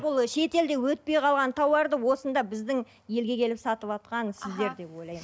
бұл шетелде өтпей қалған тауарды осында біздің елге келіп сатыватқан сіздер деп ойлаймын